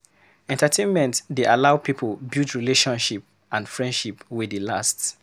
Entertainment dey allow pipo build relationship and friendship wey dey last